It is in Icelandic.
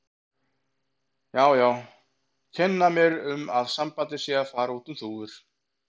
Já, já, kenna mér um að sambandið sé að fara út um þúfur.